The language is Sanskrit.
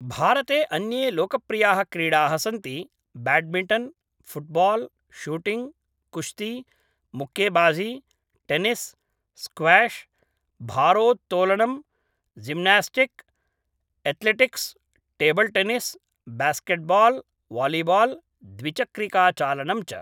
भारते अन्ये लोकप्रियाः क्रीडाः सन्ति ब्याड्मिण्टन्, फुट्बाल्, शूटिंग्, कुश्ती, मुक्केबाजी, टेनिस्, स्क्वैश्, भारोत्तोलनम्, gymnastic, athletics, table tennis, basketball, volleyball, द्विचक्रिकाचालनं च